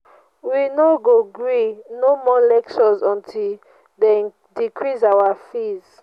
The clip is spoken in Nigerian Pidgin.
we no go gree no more lectures until dey decrease our fees.